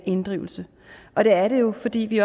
inddrivelse og det er det jo fordi vi